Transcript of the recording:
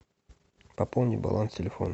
пополни баланс телефона